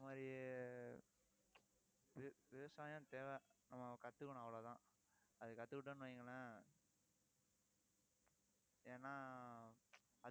அந்த மாதிரி வி~ விவசாயம் தேவை. நம்ம கத்துக்கணும் அவ்வளவுதான். அது கத்துக்கிட்டோம்ன்னு வையுங்களேன் ஏன்னா